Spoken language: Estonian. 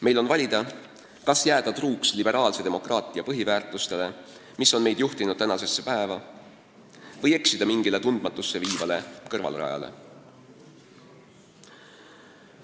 Meil on valida, kas jääda truuks liberaalse demokraatia põhiväärtustele, mis on meid juhtinud tänasesse päeva, või eksida mingile tundmatusse viivale kõrvalrajale.